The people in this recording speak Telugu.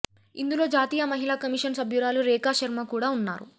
ఇందులో జాతీయ మహిళా కమిషన్ సభ్యురాలు రేఖా శర్మ కూడా ఉన్నారు